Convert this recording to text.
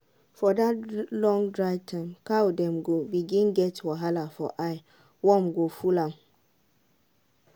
for dat long gathering cow dem go bring get wahala for eye warm go full am